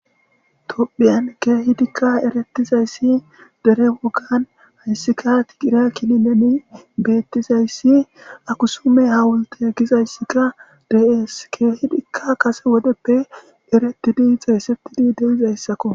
Tophphiyan keehidika eretizaysi dere wogan hayssika tigira killileni beetizayssi aksume hawulte gizayssikka de'es; keehidika kase wodepe ereetidi xeeysetidi de'izayssako.